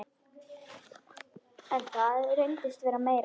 En það reynist vera meira.